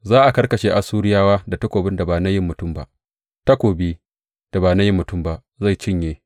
Za a karkashe Assuriyawa da takobin da ba na yin mutum ba; takobi, da ba na yin mutum ba, zai cinye.